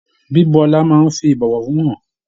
Bíbú ọlá máa n fí ibọwọfún hàn.